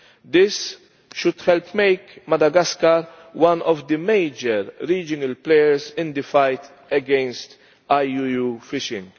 This should help make Madagascar one of the major regional players in the fight against IUU fishing.